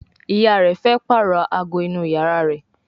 ìyá rẹ fe parọ àgọ inú iyàrá rẹ.